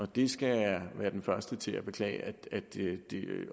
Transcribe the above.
det skal jeg være den første til at beklage